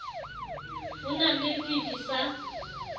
ho na le fifi sa